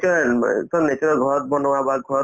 natural ব অ তোমাৰ natural ঘৰত বনোৱা বা ঘৰত